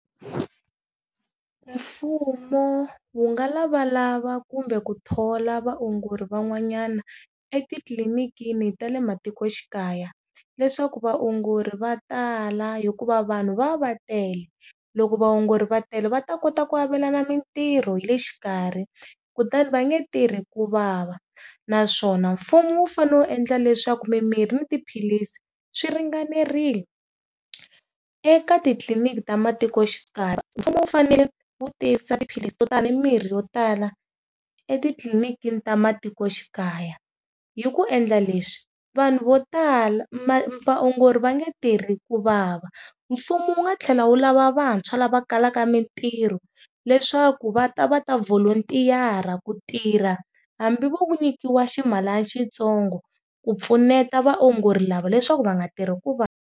Mfumo wu nga lavalava kumbe ku thola vaongori van'wanyana etitlilinikini ta le matikoxikaya, leswaku vaongori va tala hikuva vanhu va va va tele loko vaongori va tele va ta kota ku avelana mintirho hi le xikarhi kutani va nge tirhi ku vava. Naswona mfumo wu fane wu endla leswaku mimirhi ni tiphilisi swi ringanerile eka titliliniki ta matikoxikaya mfumo wu fanele wu tisa tiphilisi to tala ni mirhi yo tala etitliliniki ta matikoxikaya. Hi ku endla leswi vanhu vo tala vaongori va nge tirhi ku vava mfumo wu nga tlhela wu lava vantshwa lava kalaka mitirho leswaku va ta va ta volunteer ku tirha hambi vo nyikiwa ximalana xitsongo ku pfuneta vaongori lava leswaku va nga tirhi kuvava.